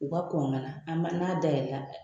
U ka kɔn ka na an n'a da yɛlɛla